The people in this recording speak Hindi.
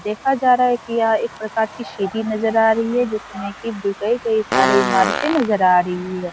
देखा जा रहा है की यह एक प्रकार की सिटी नजर आ रही है जिसमें की बिकी गई सारी इमारतें नजर आ रहीं है।